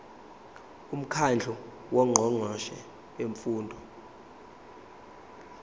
umkhandlu wongqongqoshe bemfundo